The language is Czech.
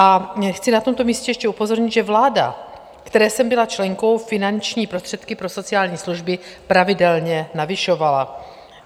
A chci na tomto místě ještě upozornit, že vláda, které jsem byla členkou, finanční prostředky pro sociální služby pravidelně navyšovala.